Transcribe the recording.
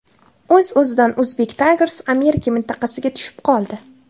O‘z-o‘zidan Uzbek Tigers Amerika mintaqasiga tushib qoldi.